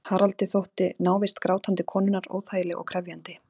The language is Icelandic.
Haraldi þótti návist grátandi konunnar óþægileg og krefjandi.